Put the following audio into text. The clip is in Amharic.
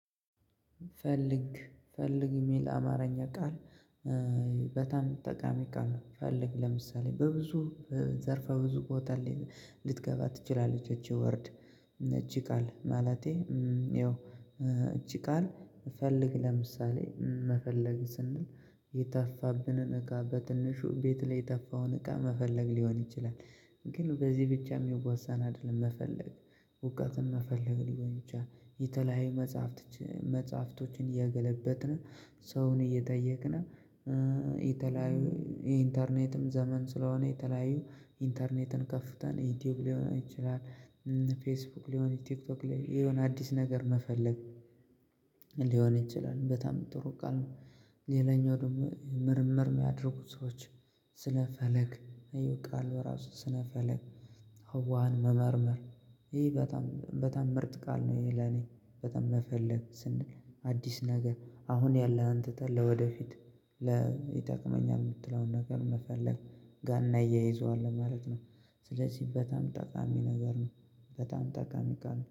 ፈልግ ፈልግ የሚል አማርኛ ቃል በጣም ጠቃሚ ቃል ነው። ፈልግ ለምሳሌ በብዙ ዘርፋ ብዙ ቦታ ልትገባ ትችላለች ይች ወርድ ይች ቃል ማለቴ ያው ይች ቃል ፈልግ ለምሳሌ መፈለግ ስንል የጠፋብንን እቃ በትንሹ ቤት ላይ የጠፋውን እቃ መፈለግ ሊሆን ይችላል። ግን በዚህ ብቻ የሚወሳን አይደለም መፈለግ ውቀትን መፈለግ ሊቆይ ብቻ የተለያዩ መጽሐፍት መጽሐፍቶችን እየገለበጥን ሰውን እየጠየቅን። የተለያዩ የኢንተርኔትም ዘመን ስለሆነ የተለያዩ ኢንተርኔትን ከፍተን ዩቲዩብ ሊሆን ይችላል ፌስቡክ ሊሆን ቲክቶክ ላይ የሆነ አዲስ ነገር መፈለግ ሊሆን ይችላል በጣም ጥሩ ቃል ነው። ሌላኛው ደግሞ ምርምር የሚያደርጉ ሰዎች ስነ ፈለግ ቃል እራሱ ስነ ፈለግ ህዋን መመርመር ይሄ በጣም በጣም ምርጥ ቃል ነው። ይሄ ለኔ በጣም መፈለግ ስንል አዲስ ነገር አሁን ያለህን ትተህ ለወደፊት ይጠቅመኛል የምትለውን ነገር መፈለግ ጋና እየይዘዋለሁ ማለት ነው። ስለዚህ በጣም ጠቃሚ ነገር ነው። በጣም ጠቃሚ ቃል